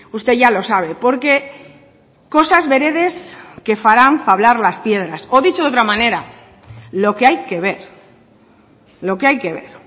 usted ya lo sabe porque cosas veredes que farán fablar las piedras o dicho de otra manera lo que hay que ver lo que hay que ver